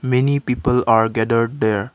many people are gathered there.